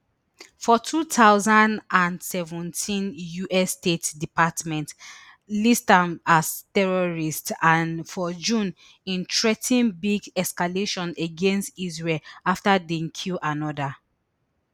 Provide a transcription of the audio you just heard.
for two thousand and seventeen us state department list am as terrorist and for june im threa ten big escalation against israel afta dem kill anoda